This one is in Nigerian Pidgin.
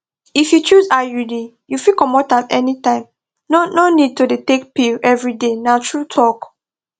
if you choose iud you fit comot am anytime no no need to dey take pill every day na true talk